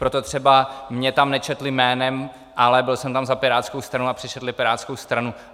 Proto třeba mě tam nečetli jménem, ale byl jsem tam za pirátskou stranu a přečetli pirátskou stranu.